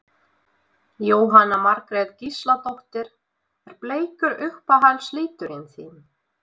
Jóhanna Margrét Gísladóttir: Er bleikur uppáhalds liturinn þinn?